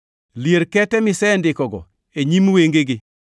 Lier kete misendikogo e nyim wengegi